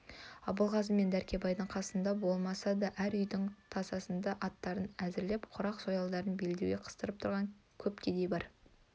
абылғазы мен дәркембайдың қасында болмаса да әр үйдің тасасында аттарын әзірлеп құрық-сойылдарын белдеуге қыстырып тұрған көп кедей бар